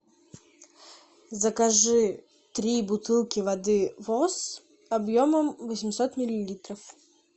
закажи три бутылки воды восс объемом восемьсот миллилитров